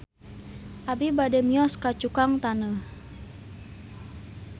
Abi bade mios ka Cukang Taneuh